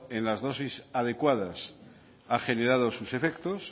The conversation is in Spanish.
en las dosis adecuadas ha generado sus efectos